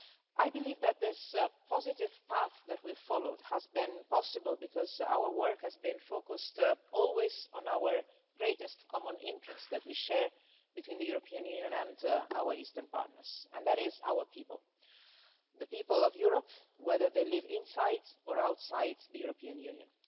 I believe that this positive path that we have followed has been possible because our work has been focused always on our greatest common interests that we share between the European Union and our Eastern partners, and that is our people, the people of Europe, whether they live inside or outside the European Union.